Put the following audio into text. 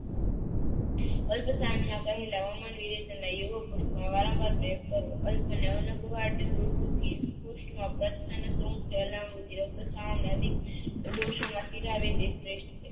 કલ્પ વારંવાર પ્રયોગ કરવો